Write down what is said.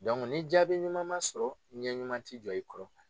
ni jaabi ɲuman ma sɔrɔ , ɲɛ ɲuman ti jɔ i kɔrɔ.